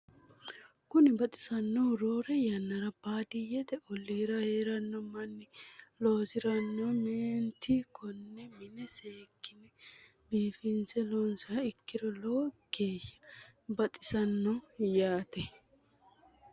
Kuni baxisannohu roore yannara baadiyyete olliira heeranno manni loosiranno mineeeti konne mine seekkine biifinse loonsiha ikkiro lowo geeshsha baxisanno yaate